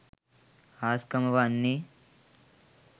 හාස්කම වන්නේ